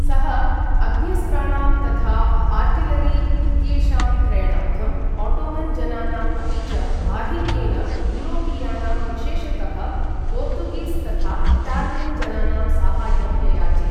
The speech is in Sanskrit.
सः अग्न्यस्त्राणां तथा आर्ट्रिलरी इत्येषां क्रयणार्थम् ओटोमन् जनानाम्, अपि च आधिक्येन यूरोपीयानां, विशेषतः पोर्तुगीस् तथा इटालियन् जनानां साहाय्यम् ययाचे।